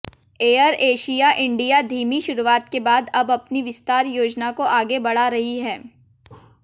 AirAsia India धीमी शुरुआत के बाद अब अपनी विस्तार योजना को आगे बढ़ा रही है